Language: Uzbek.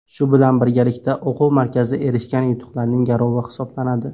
Shu bilan birgalikda o‘quv markazi erishgan yutuqlarning garovi hisoblanadi.